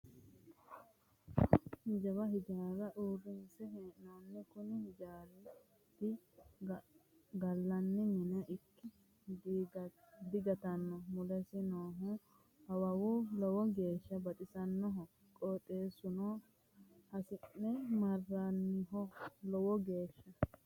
Jawa hijaara uurrinse hee'noonni kuni hijaati gallanni mine ikkikki digattano mulesi noohu awawu lowo geeshsha baxisanoho qooxeesuno hasi'ne marraniho lowo geeshsha.